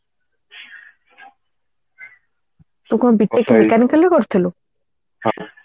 ତୁ କଣ B tech mechanical ରେ କରିଥିଲୁ